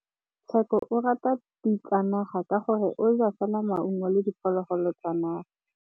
Tshekô o rata ditsanaga ka gore o ja fela maungo le diphologolo tsa naga.